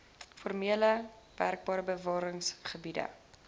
formele wknbr bewaringsgebiede